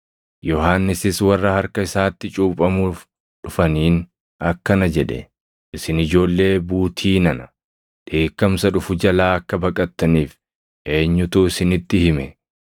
Yohannisis warra harka isaatti cuuphamuuf dhufaniin akkana jedhe; “Isin ijoollee buutii nana! Dheekkamsa dhufu jalaa akka baqattaniif eenyutu isinitti hime?